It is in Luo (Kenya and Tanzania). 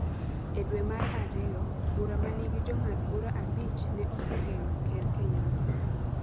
E dwe mar ariyo, bura ma nigi Jong'ad bura abich ne osegeng’o Ker Kenyatta